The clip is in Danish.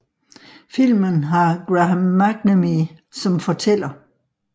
Filmen har Graham McNamee som fortæller